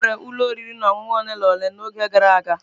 Enwere ụlọ oriri na ọṅụṅụ ole na ole n'oge gara aga.